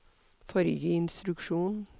forrige instruksjon